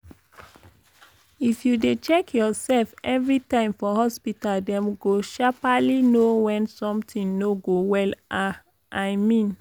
if you dey check your sef everi time for hospita dem go sharperly know wen some tin no go well ah i mean